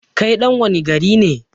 kai ɗan wani gari ne?